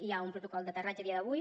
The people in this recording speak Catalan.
hi ha un protocol d’aterratge a dia d’avui